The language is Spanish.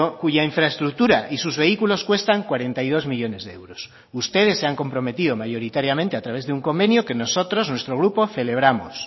cuya infraestructura y sus vehículos cuestan cuarenta y dos millónes de euros ustedes se han comprometido mayoritariamente a través de un convenio que nosotros nuestro grupo celebramos